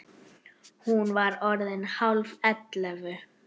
Hún var orðin hálf ellefu.